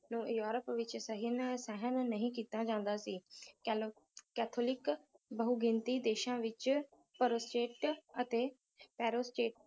ਨੂੰ ਯੂਰੋਪ ਵਿੱਚ ਸਹਿਮ ਸਹਿਣ ਨਹੀਂ ਕੀਤਾ ਜਾਂਦਾ ਸੀ ਕੇਲੋ ਕੈਥੋਲਿਕ ਬਹੁਗਿਣਤੀ ਦੇਸ਼ਾਂ ਵਿਚ ਅਤੇ